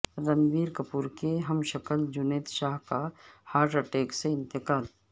رنبیر کپور کے ہم شکل جنید شاہ کا ہارٹ اٹیک سے انتقال